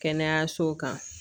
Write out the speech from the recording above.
Kɛnɛyasow kan